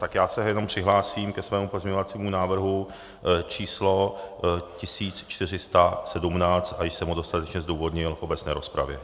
Tak já se jenom přihlásím ke svému pozměňovacímu návrhu číslo 1417 a již jsem ho dostatečně zdůvodnil v obecné rozpravě.